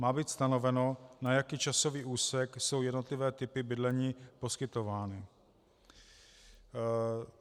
Má být stanoveno, na jaký časový úsek jsou jednotlivé typy bydlení poskytovány.